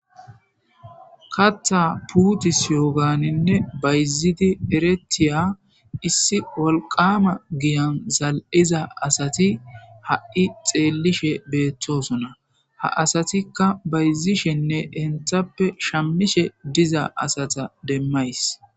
Kaththa puttisiyanne bayzidi erretiza issi wolqqama giiyan zal'iza asati ha'ii xellishe bettossona ha asatika bayizishenne shamishshe diiza asata demayis.